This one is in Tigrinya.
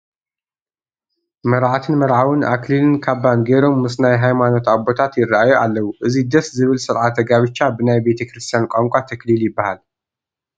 መርዓትን መርዓውን ኣክሊልን ካባን ገይሮም ምስ ናይ ሃይማኖት ኣቦታት ይርአዩ ኣለዉ፡፡ እዚ ደስ ዝብል ስርዓተ ጋብቻ ብናይ ቤተ ክርስቲያን ቋንቋ ተክሊል ይበሃል፡፡